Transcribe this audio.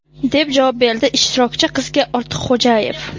deb javob berdi ishtirokchi qizga Ortiqxo‘jayev.